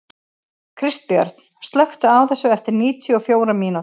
Kristbjörn, slökktu á þessu eftir níutíu og fjórar mínútur.